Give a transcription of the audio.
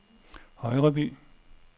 Højreby